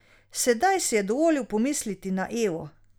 Sedaj si je dovolil pomisliti na Evo.